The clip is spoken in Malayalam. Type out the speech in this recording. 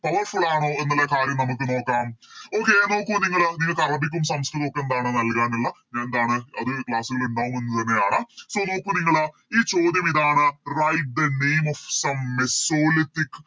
Powerful ആണോ എന്നുള്ള കാര്യം നമുക്ക് നോക്കാം Okay നോക്കു നിങ്ങള് നിങ്ങക്ക് അറബിക്കും സംസ്കൃതോം ഒക്കെ എന്താണ് നൽകാനുള്ള എന്താണ് അത് Class ൽ ഇണ്ടാവും എന്ന് തന്നെയാണ് So നോക്കു നിങ്ങള് ഈ ചോദ്യം ഇതാണ് Write the name of some mesolithic